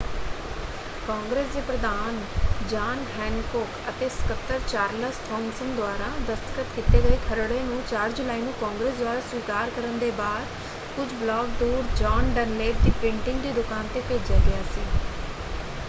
ਕਾਂਗਰਸ ਦੇ ਪ੍ਰਧਾਨ John Hancock ਅਤੇ ਸਕੱਤਰ ਚਾਰਲਸ ਥੌਮਸਨ ਦੁਆਰਾ ਦਸਤਖਤ ਕੀਤੇ ਗਏ ਖਰੜੇ ਨੂੰ 4 ਜੁਲਾਈ ਨੂੰ ਕਾਂਗਰਸ ਦੁਆਰਾ ਸਵੀਕਾਰ ਕਰਨ ਦੇ ਬਾਅਦ ਕੁੱਝ ਬਲਾੱਕ ਦੂਰ ਜਾਨ ਡਨਲੈਪ ਦੀ ਪ੍ਰਿੰਟਿੰਗ ਦੀ ਦੁਕਾਨ ‘ਤੇ ਭੇਜਿਆ ਗਿਆ ਸੀ।